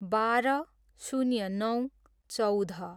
बाह्र, शून्य नौ, चौध